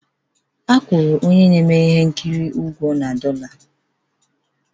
E nwetara onye na-eme ihe nkiri na dollar